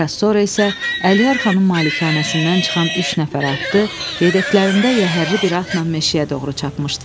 Bir az sonra isə Əliyar xanın malikanəsindən çıxan üç nəfər atlı, yedəklərində yəhərli bir atla meşəyə doğru çapmışdılar.